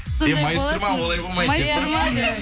э майыстырма олай болмайды деп па